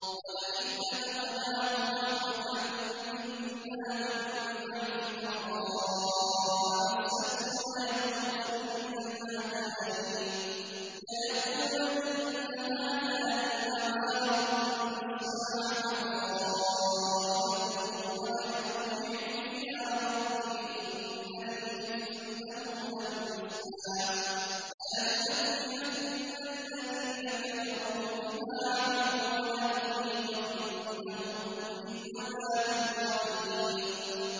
وَلَئِنْ أَذَقْنَاهُ رَحْمَةً مِّنَّا مِن بَعْدِ ضَرَّاءَ مَسَّتْهُ لَيَقُولَنَّ هَٰذَا لِي وَمَا أَظُنُّ السَّاعَةَ قَائِمَةً وَلَئِن رُّجِعْتُ إِلَىٰ رَبِّي إِنَّ لِي عِندَهُ لَلْحُسْنَىٰ ۚ فَلَنُنَبِّئَنَّ الَّذِينَ كَفَرُوا بِمَا عَمِلُوا وَلَنُذِيقَنَّهُم مِّنْ عَذَابٍ غَلِيظٍ